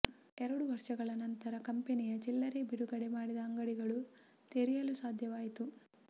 ಎರಡು ವರ್ಷಗಳ ನಂತರ ಕಂಪನಿಯ ಚಿಲ್ಲರೆ ಬಿಡುಗಡೆ ಮಾಡಿದ ಅಂಗಡಿಗಳು ತೆರೆಯಲು ಸಾಧ್ಯವಾಯಿತು